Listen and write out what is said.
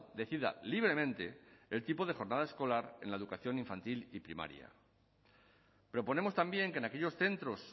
decida libremente el tipo de jornada escolar en la educación infantil y primaria proponemos también que en aquellos centros